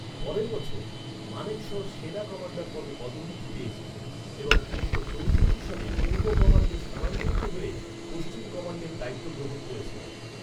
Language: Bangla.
পরের বছর, মানেকশ সেনা কমান্ডার পদে পদোন্নতি পেয়েছিলেন এবং উনিশশো চৌষট্টি সালে পূর্ব কমান্ডে স্থানান্তরিত হ’য়ে, পশ্চিম কমান্ডের দায়িত্ব গ্রহণ করেছিলেন।